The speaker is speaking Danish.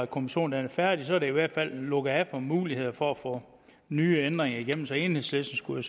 kommission er færdig er der i hvert fald lukket af for muligheder for at få nye ændringer igennem så enhedslisten skulle